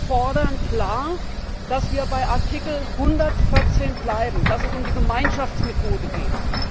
Wir fordern klar, dass wir bei Artikel 114 bleiben, dass es um die Gemeinschaftsmethode geht.